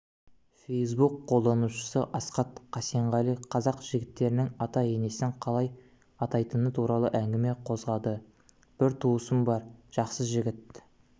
фейсбук қолданушысы асхат қасенғалиқазақ жігіттерінің ата-енесін қалай атайтыны туралы әңгіме қозғады бір туысым бар жақсы жігіт